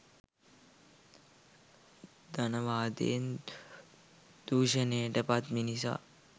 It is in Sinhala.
ධනවාදයෙන් දූෂණයට පත් මිනිසා